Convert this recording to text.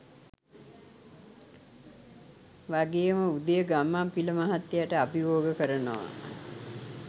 වගේම උදය ගම්මන්පිල මහත්තයට අභියෝග කරනවා.